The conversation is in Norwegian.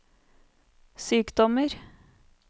sykdommer